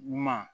Ɲuman